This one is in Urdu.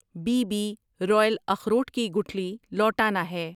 بی بی رویل اخروٹ کی گٹھلی لوٹانا ہے